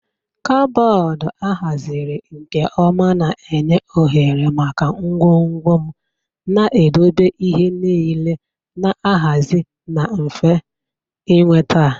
Kaboodu a haziri nke ọma na-enye ohere maka ngwongwo m, na-edobe ihe niile na-ahazi na mfe ịnweta.